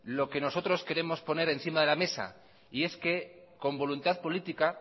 lo que nosotros queremos poner encima de la mesa y es que con voluntad política